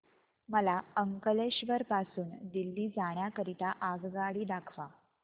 मला अंकलेश्वर पासून दिल्ली जाण्या करीता आगगाडी दाखवा